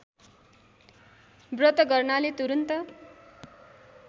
व्रत गर्नाले तुरुन्त